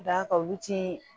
Ka da kan olu ti